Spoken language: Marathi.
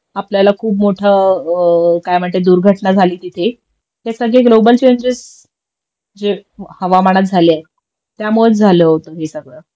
खूप मोठ काय म्हणते दुर्घटना झाली तिथे हे सगळे ग्लोबल चेंजेस जे हवामानात झाले आहेत त्यामुळंच झालं होत हे सगळं